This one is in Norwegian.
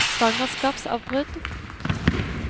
svangerskapsavbrudd